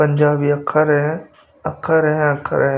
पंजाबी अक्खर है अक्खर है अक्खर है।